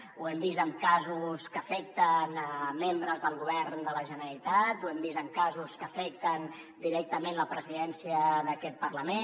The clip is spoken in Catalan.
ho hem vist en casos que afecten membres del govern de la generalitat ho hem vist en casos que afecten directament la presidència d’aquest parlament